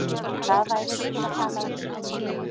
Það væri ekki til að tala um.